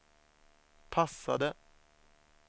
passade